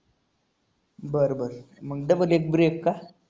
बरं बरं. मग double एक break का?